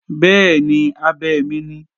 Bẹ́ẹ̀ni, abẹ mi ni